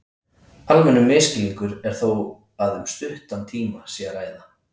almennur málskilningur er þó að um stuttan tíma sé að ræða